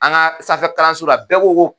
An ka sanfɛ kalanso la bɛɛ ko ko